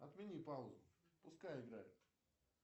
отмени паузу пускай играет